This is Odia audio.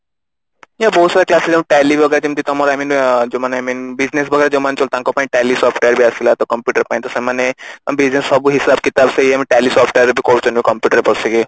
ବହୁତ ସାରା classes ଯେମତି Tally ବଗେରା ଯେମତି ତମର I mean ଯୋଉ ମାନେ main business ବଗେରା ଯୋଉ ମାନେ ଚାଲୁଚି ତାଙ୍କ ପାଇଁ Tally software ବି ଆସିଲା ତ computer ପାଇଁ ତ ସେମାନେ business ର ସବୁ ହିସାବ କିତାବ ସେଇ ଆମେ Tally software ରେ ଏବେ କରୁଛନ୍ତି computer ରେ ବସିକି